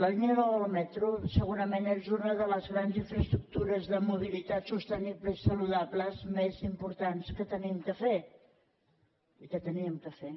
la línia nou del metro segurament és una de les grans infraestructures de mobilitat sostenible i saludable més importants que hem de fer i que havíem de fer